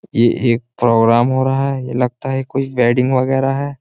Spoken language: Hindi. यह एक प्रोग्राम हो रहा है यह लगता है कोई वेडिंग वगैरह है।